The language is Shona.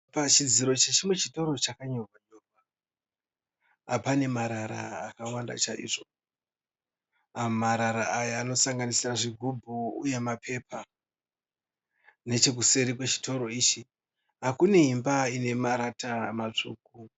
Pachidziro chechimwe chitoro chakanyorwa. Pane marara marara akawanda chaizvo. Marara aya anosanganisira zvigubhu uye mapepa. Nechekuseri kwechitoro ichi kune imba ine marata matsvuku.